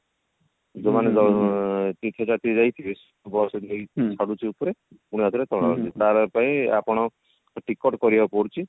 ଯୋଉ ମାନେ ଯାଇଥିବେ bus ନେଇ ଛାଡୁଛି ଉପରେ ପୁଣିଆଉ ଥରେ ତଳକୁ ଆଣୁଛି ତାର ପାଇଁ ଆପଣ ଟିକଟ କରିବାକୁ ପଡୁଛି